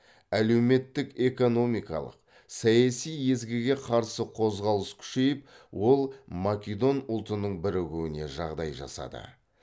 әлеуметтік экономикалық саяси езгіге қарсы қозғалыс күшейіп ол македон ұлтының бірігуіне жағдай жасады